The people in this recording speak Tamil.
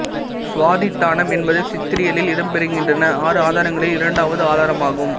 சுவாதிட்டானம் என்பது சித்தரியலில் இடம்பெறுகின்றன ஆறு ஆதாரங்களில் இரண்டாவது ஆதாரமாகும்